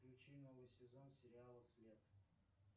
включи новый сезон сериала свет